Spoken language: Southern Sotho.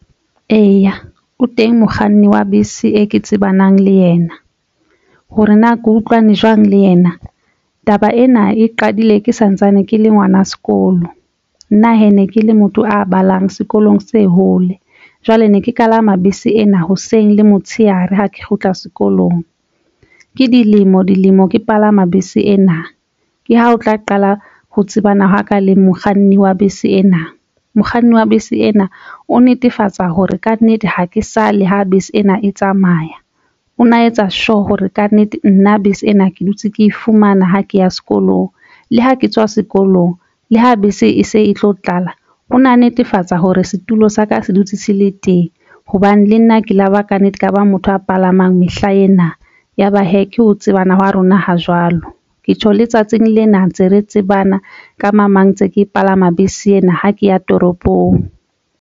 Eya, o teng mokganni wa bese e ke tsebanang le yena hore na ke utlwane jwang le yena. Taba ena e qadile ke santsane ke le ngwana sekolo nna hee ne ke le motho a balang sekolong se hole jwale ne ke kalama bese ena hoseng le motshehare. Ha ke kgutla sekolong ke dilemo dilemo ke palama bese ena ke ha o tla qala ho tsebana ho ka le mokganni wa bese ena. Mokganni wa bese ena o netefatsa hore kannete ha ke sa le ha bese ena e tsamaya. O na etsa sure hore kannete nna bese ena ke dutse ke fumana ha ke ya sekolong le ha ke tswa sekolong le ha bese e se e tlo tlala. Ho na netefatsa hore setulo sa ka se dutse se le teng hobane le nna ke la ba kannete ka ba motho a palamang mehla ena ya ba hee ke ho tsebana hwa rona. Ho jwalo ke tjho le tsatsing lena ntse re tsebana ka mamang ntse ke palama bese ena ha ke ya toropong.